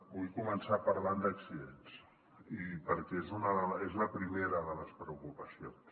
vull començar parlant d’accidents i perquè és la primera de les preocupacions